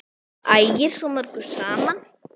Það ægir svo mörgu saman.